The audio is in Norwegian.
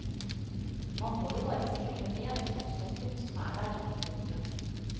Man må jo bare spille med den kortstokken som er der. punktum